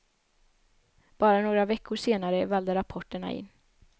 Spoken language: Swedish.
Bara några veckor senare vällde rapporterna in.